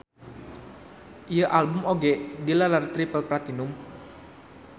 Ieu album oge dileler triple platinum.